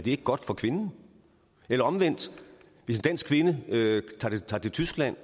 ikke godt for kvinden eller omvendt hvis en dansk kvinde tager til tyskland